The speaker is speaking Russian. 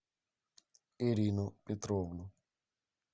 ирину петровну